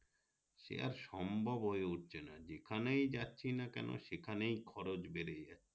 সে আর সম্ভব হয়ে উঠছে না যেখানে যাচ্ছি না কেনো সেখানেই খরচ বেড়ে যাচ্ছে